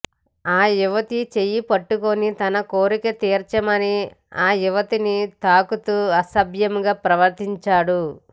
ఆ యువతి చెయ్యిపట్టుకొని తన కోరిక తీర్చమని ఆ యువతిని తాకుతూ అసభ్యంగా ప్రవర్తించాడు